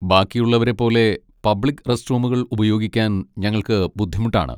ബാക്കിയുള്ളവരെപോലെ public റസ്റ്റ്റൂമുകൾ ഉപയോഗിക്കാൻ ഞങ്ങൾക്ക് ബുദ്ധിമുട്ടാണ്.